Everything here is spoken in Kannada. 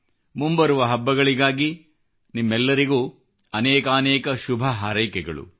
ಮುಂಬರುವ ಹಬ್ಬಗಳಿಗಾಗಿ ನಿಮ್ಮೆಲ್ಲರಿಗೂ ಅನೇಕಾನೇಕ ಶುಭ ಹಾರೈಕೆಗಳು